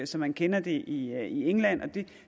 som man kender det i england det